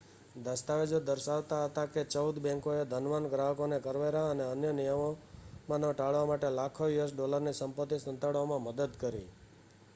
દસ્તાવેજો દર્શાવતા હતાં કે ચૌદ બૅંકોએ ધનવાન ગ્રાહકોને કરવેરા અને અન્ય નિયમનો ટાળવા માટે લાખો યુએસ ડૉલરની સંપત્તિ સંતાડવામાં મદદ કરી